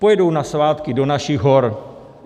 Pojedou na svátky do našich hor?